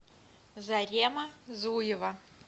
зарема зуева